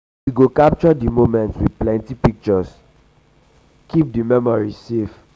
we go capture um di moments with plenty um pictures keep um di memories safe.